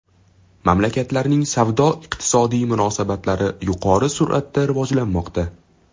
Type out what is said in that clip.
Mamlakatlarning savdo-iqtisodiy munosabatlari yuqori sur’atda rivojlanmoqda.